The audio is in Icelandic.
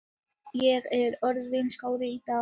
Ég er orðinn skárri í dag.